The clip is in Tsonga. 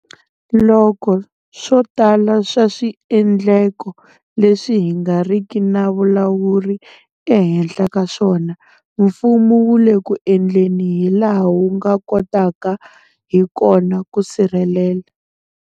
Loko swo tala swa swiendleko leswi hi nga riki na vulawuri ehenhla ka swona, mfumo wu le ku endleni hilaha wu nga kotaka hi kona ku sirhelela.